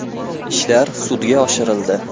Ishlar sudga oshirildi.